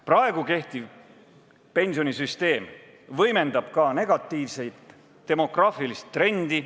Praegu kehtiv pensionisüsteem võimendab ka negatiivset demograafilist trendi.